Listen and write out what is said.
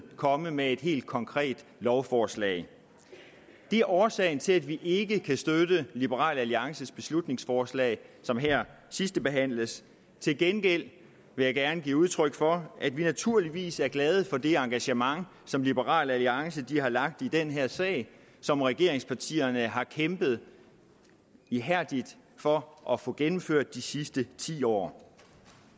komme med et helt konkret lovforslag det er årsagen til at vi ikke kan støtte liberal alliances beslutningsforslag som her sidstebehandles til gengæld vil jeg gerne give udtryk for at vi naturligvis er glade for det engagement som liberal alliance har lagt i den her sag som regeringspartierne har kæmpet ihærdigt for at få gennemført de sidste ti år